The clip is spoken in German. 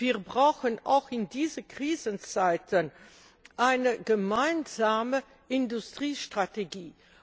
Wir brauchen auch in diesen Krisenzeiten eine gemeinsame Industriestrategie.